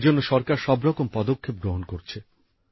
এর জন্য সরকার সবরকম পদক্ষেপ গ্রহণ করছে